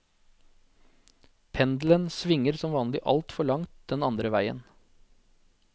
Pendelen svinger som vanlig altfor langt den andre veien.